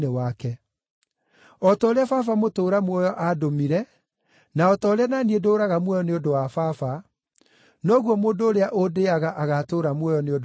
O ta ũrĩa Baba mũtũũra muoyo aandũmire na o ta ũrĩa na niĩ ndũũraga muoyo nĩ ũndũ wa Baba, noguo mũndũ ũrĩa ũndĩĩaga agaatũũra muoyo nĩ ũndũ wakwa.